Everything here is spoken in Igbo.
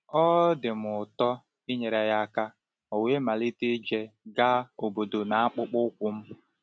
Ọ um dị m ụtọ inyere ya aka, ọ̀ we malite ije gaa obodo n’akpụkpọ ụkwụ m.